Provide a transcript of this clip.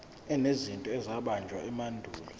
enezinto ezabunjwa emandulo